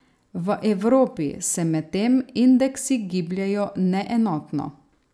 V Evropi se medtem indeksi gibljejo neenotno.